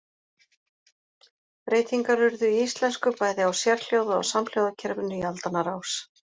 Breytingar urðu í íslensku bæði á sérhljóða- og samhljóðakerfinu í aldanna rás.